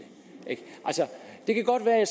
jeg